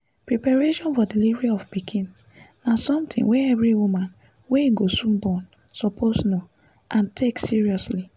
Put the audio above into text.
preparation for delivery of pikin na something wey every woman wey go soon born suppose know and take seriously